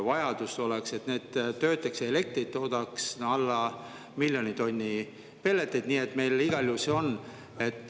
Selleks, et need töötaks ja elektrit toodaks, oleks vaja alla miljoni tonni pelleteid, mida meil igal juhul on.